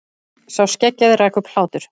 Sá skeggjaði rak upp hlátur.